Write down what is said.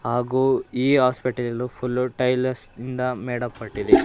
ಹಾಗು ಈ hospital full tiles ಇಂದ ಮೇಡಪಟ್ಟಿದೆ.